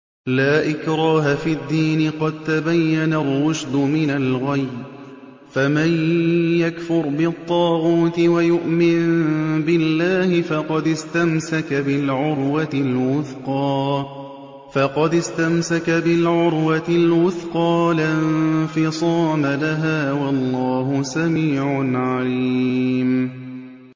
لَا إِكْرَاهَ فِي الدِّينِ ۖ قَد تَّبَيَّنَ الرُّشْدُ مِنَ الْغَيِّ ۚ فَمَن يَكْفُرْ بِالطَّاغُوتِ وَيُؤْمِن بِاللَّهِ فَقَدِ اسْتَمْسَكَ بِالْعُرْوَةِ الْوُثْقَىٰ لَا انفِصَامَ لَهَا ۗ وَاللَّهُ سَمِيعٌ عَلِيمٌ